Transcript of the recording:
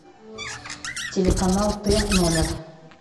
телеканал т номер